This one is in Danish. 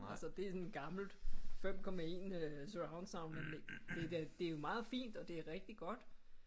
Altså det er sådan et gammelt 5,1 surroundsoundanlæg det da det jo meget fint og det er rigtig godt